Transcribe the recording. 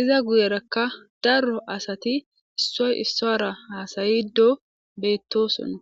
iza guyerakka daro asati issoy issora haasayido beettosonna.